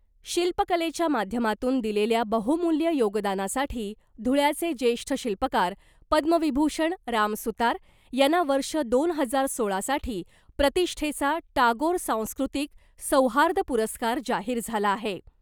शिल्प कलेच्या माध्यमातून दिलेल्या बहुमूल्य योगदानासाठी धुळ्याचे ज्येष्ठ शिल्पकार पद्मविभूषण राम सुतार यांना वर्ष दोन हजार सोळासाठी प्रतिष्ठेचा टागोर सांस्कृतिक सौहार्द पुरस्कार जाहीर झाला आहे .